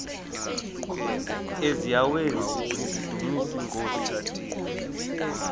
eziaweni nizidumis iinkosi